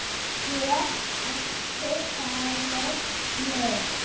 Get ekki falið mig.